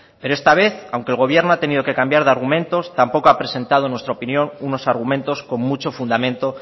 pero esta vez aunque el gobierno ha tenido que cambiar de argumentos tampoco ha presentado en nuestra opinión unos argumentos con mucho fundamento